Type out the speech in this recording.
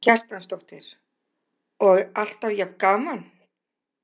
Karen Kjartansdóttir: Og alltaf jafn gaman?